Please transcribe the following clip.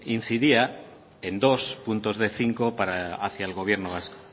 incidía en dos puntos de cinco hacia el gobierno vasco